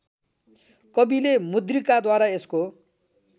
कविले मुद्रिकाद्वारा यसको